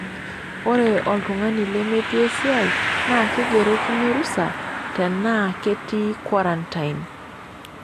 Ore oltungani lemetii esiai na keigerokini orusa tenaa ketii kwarantain.